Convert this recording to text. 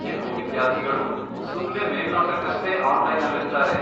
ಕೆಲ್ವು ವಿದ್ಯಾರ್ಥಿಗಳು ಸುಮ್ನೇ ಮೇಲ್ನೋಟಕ್ಕಷ್ಟೇ ಆನ್ಲೈನಲ್ಲಿರ್ತಾರೆ.